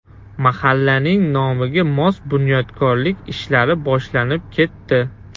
Mahallaning nomiga mos bunyodkorlik ishlari boshlanib ketdi.